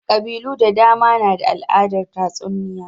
Ƙabilu da dama na da al'adar tatsuniya.